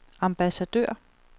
ambassadør